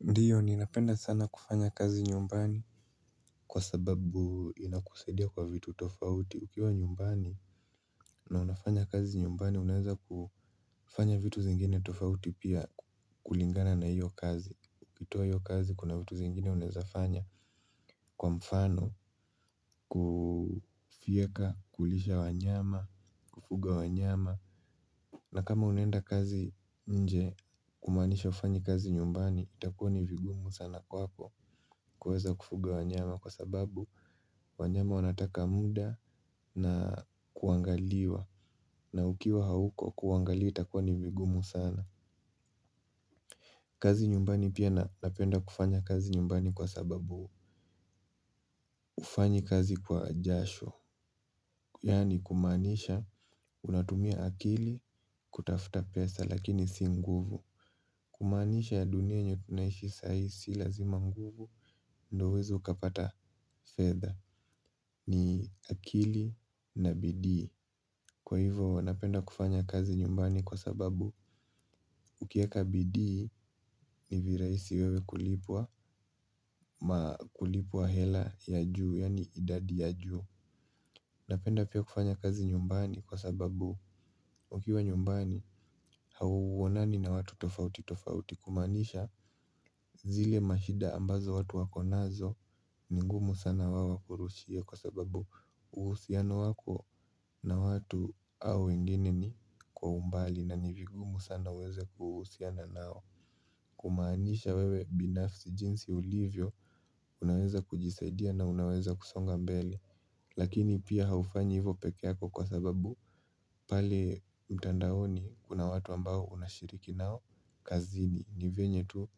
Ndio ninapenda sana kufanya kazi nyumbani. Kwa sababu inakusaidia kwa vitu tofauti. Ukiwa nyumbani na unafanya kazi nyumbani. Unaweza kufanya vitu zingine tofauti pia kulingana na hiyo kazi ukitoa hio kazi kuna vitu zingine unawezafanya. Kwa mfano, kufyeka, kulisha wanyama, kufuga wanyama. Na kama unaenda kazi nje kumaanisha hufanyi kazi nyumbani. Itakua ni vigumu sana kwako. Kuweza kufuga wanyama kwa sababu wanyama wanataka muda na kuangaliwa. Na ukiwa hauko kuwaangalia itakuwa ni vigumu sana. Kazi nyumbani pia napenda kufanya kazi nyumbani kwa sababu hufanyi kazi kwa jasho. Yaani kumaanisha unatumia akili kutafuta pesa lakini si nguvu. Kumaanisha dunia yenye tunaishi sa hii si lazima nguvu. Ndo uweze ukapata fedha. Ni akili na bidii. Kwa hivo napenda kufanya kazi nyumbani kwa sababu ukiweka bidii ni virahisi wewe kulipwa ama kulipwa hela ya juu yaani idadi ya juu. Napenda pia kufanya kazi nyumbani kwa sababu ukiwa nyumbani hauonani na watu tofauti tofauti kumaanisha zile mashida ambazo watu wako nazo. Ni ngumu sana wao wakurushie kwa sababu uhusiano wako na watu au wengine ni kwa umbali na ni vigumu sana uweze kuhusiana nao. Kumaanisha wewe binafsi jinsi ulivyo unaweza kujisaidia na unaweza kusonga mbele. Lakini pia haufanyi hivyo pekee yako kwa sababu pale mtandaoni kuna watu ambao unashiriki nao. Kazini ni venye tu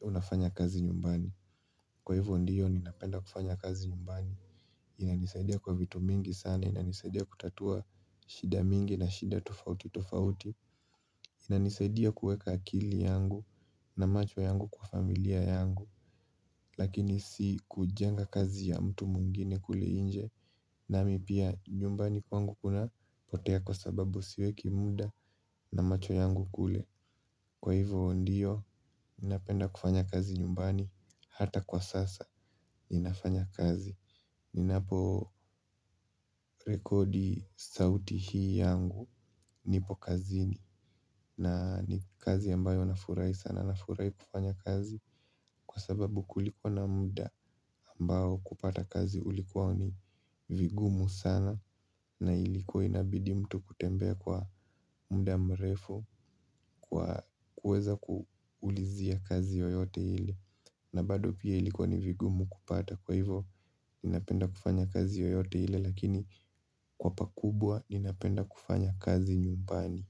unafanya kazi nyumbani. Kwa hivo ndiyo ninapenda kufanya kazi nyumbani. Inanisaidia kwa vitu mingi sana, inanisaidia kutatua shida mingi na shida tofauti tofauti. Inanisaidia kuweka akili yangu na macho yangu kwa familia yangu. Lakini si kujenga kazi ya mtu mwingine kule nje. Nami pia nyumbani kwangu kuna potea kwa sababu siweki muda na macho yangu kule. Kwa hivyo ndiyo, napenda kufanya kazi nyumbani hata kwa sasa, ninafanya kazi. Ninapo rekodi sauti hii yangu nipo kazini na ni kazi ambayo na furahi sana na furahi kufanya kazi. Kwa sababu kulikuwa na muda ambao kupata kazi ulikuwa ni vigumu sana na ilikuwa inabidi mtu kutembea kwa muda mrefu kwa kuweza kuulizia kazi yoyote ile. Na bado pia ilikuwa ni vigumu kupata kwa hivo ninapenda kufanya kazi yoyote ile lakini kwa pakubwa ninapenda kufanya kazi nyumbani.